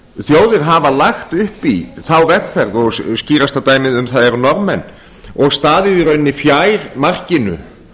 þjóðir hafa lagt upp í þá vegferð og skýrasta dæmið um það eru norðmenn og staðið í rauninni fjær markinu